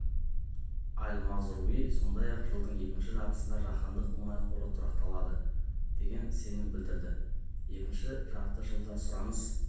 аль-мазруи сондай-ақ жылдың екінші жартысында жаһандық мұнай қоры тұрақталады деген сенім білдірді екінші жарты жылда сұраныс